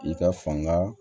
I ka fanga